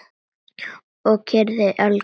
Og kyrrðin algjör.